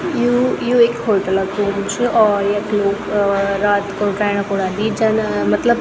यू यु एक होटल क रूम छ और यख लोग रात खुण रैणा कु अन्दीन जन मतलब --